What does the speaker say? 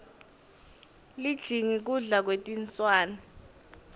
lijingi kudla kwetinswane